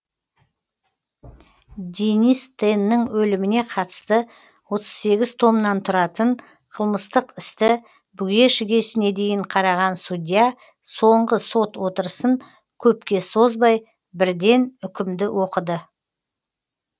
денис теннің өліміне қатысты отыз сегіз томнан тұратын қылмыстық істі бүге шігесіне дейін қараған судья соңғы сот отырысын көпке созбай бірден үкімді оқыды